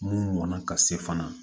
Mun mɔnna ka se fana